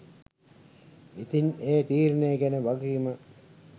ඉතිං ඒ තීරණේ ගැන වගකීම